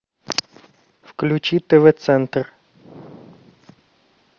включи тв центр